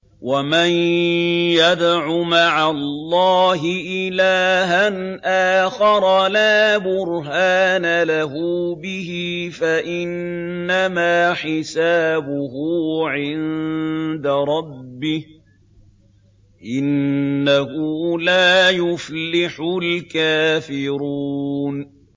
وَمَن يَدْعُ مَعَ اللَّهِ إِلَٰهًا آخَرَ لَا بُرْهَانَ لَهُ بِهِ فَإِنَّمَا حِسَابُهُ عِندَ رَبِّهِ ۚ إِنَّهُ لَا يُفْلِحُ الْكَافِرُونَ